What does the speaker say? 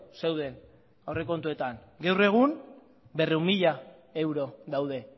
zeuden aurrekontuetan gaur egun berrehun mila euro daude